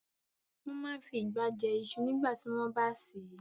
Wọ́n máa n fi ìgbá jẹ iṣu nígbàtí wọ́n bá sè é